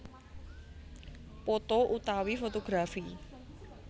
Poto utawi fotografi